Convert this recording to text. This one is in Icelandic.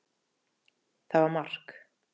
Það var mark.